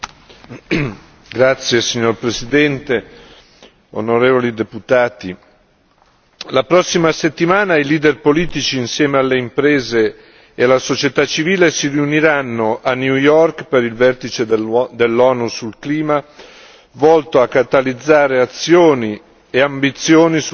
Signor Presidente, onorevoli deputati, la prossima settimana i leader politici, insieme alle imprese e alla società civile, si riuniranno a New York per il vertice dell'ONU sul clima volto a catalizzare azioni e ambizioni sul cambiamento climatico.